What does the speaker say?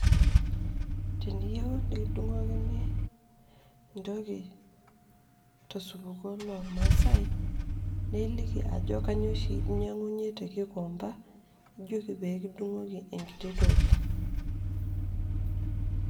teniyieu nikidung'okini entoki tosupuko loormaasae naa ijoki entoki oshi ninyiang'unye te gikomba, nijoki mikitudung'oki enkiti toki.